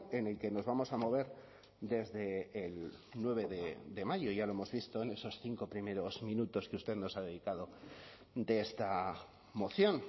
en el que nos vamos a mover desde el nueve de mayo ya lo hemos visto en esos cinco primeros minutos que usted nos ha dedicado de esta moción